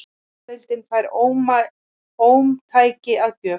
Kvennadeildin fær ómtæki að gjöf